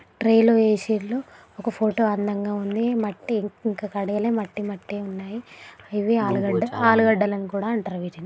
tray లో వేసిర్రు ఒక ఫోటో అందంగా ఉంది మట్టి ఇంకా కడగలే మట్టి మట్టి ఉన్నాయి ఇవి ఆలుగడ్డ ఆలుగడ్డ అని కూడా అంటారు వీటిని--